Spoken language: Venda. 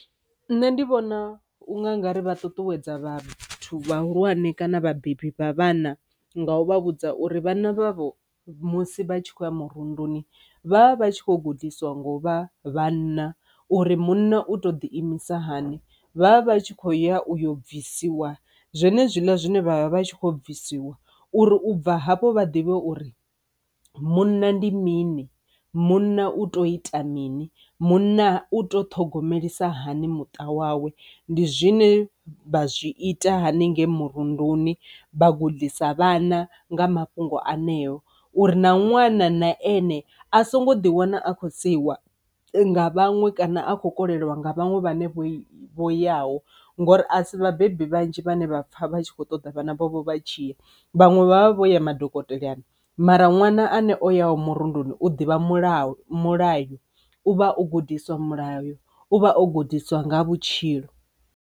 Nṋe ndi vhona unga nga ri vha ṱuṱuwedza vhathu vhahulwane kana vhabebi vha vhana nga u vha vhudza uri vhana vhavho musi vha tshi khou ya murunduni vha vha vha tshi khou gudiswa nga u vha vhanna uri munna u to ḓi imisa hani, vha vha vha tshi khou ya u yo bvisiwa zwenezwiḽa zwine vha vha vha tshi khou bvisiwa uri u bva hafho vha ḓivhe uri munna ndi mini, munna u tea u ita mini, munna u to ṱhogomelisa hani muṱa wawe. Ndi zwine vha zwi ita haningei murunduni vha gudisa vhana nga mafhungo aneo uri na ṅwana na ane a songo ḓi wana a khou seiwa nga vhaṅwe kana a kho koleliwa nga vhaṅwe vhenevho vho yaho ngori a si vhabebi vhanzhi vhane vha pfha vha tshi kho ṱoḓa vhana vhavho vha tshi ya, vhaṅwe vha vha vho ya madokotelani, mara ṅwana ane o yaho murunduni u ḓivha mulayo mulayo u vha o gudiswa mulayo u vha o gudiswa nga ha vhutshilo.